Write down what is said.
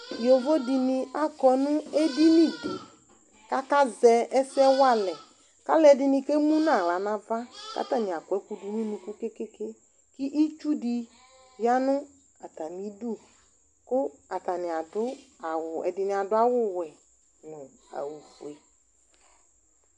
Yovo dɩnɩ akɔ nʋ edini dɩ kʋ akazɛ ɛsɛ wa alɛ kʋ alʋɛdɩnɩ kemu nʋ aɣla nʋ ava kʋ atanɩ akɔ ɛkʋdʋ nʋ unuku ke-ke-ke kʋ itsu dɩ ya nʋ tamɩdu kʋ atanɩ adʋ awʋ, ɛdɩnɩ adʋ awʋwɛ nʋ awʋfue